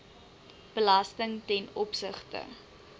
belasting ten opsigte